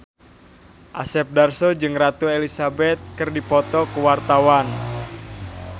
Asep Darso jeung Ratu Elizabeth keur dipoto ku wartawan